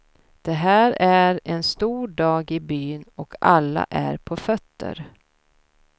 Det här är en stor dag i byn och alla är på fötter.